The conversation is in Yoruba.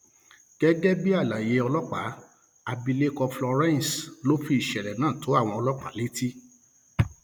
gẹgẹ bí àlàyé ọlọpàá abilékọ florence ló fi ìṣẹlẹ náà tó àwọn ọlọpàá létí